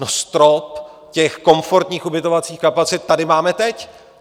No strop těch komfortních ubytovacích kapacit tady máme teď.